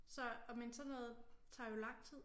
Så og men sådan noget tager jo lang tid